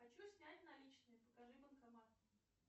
хочу снять наличные покажи банкомат